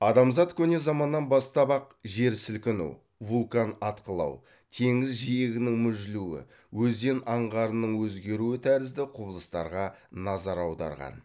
адамзат көне заманнан бастап ақ жер сілкіну вулкан атқылау теңіз жиегінің мүжілуі өзен аңғарының өзгеруі тәрізді құбылыстарға назар аударған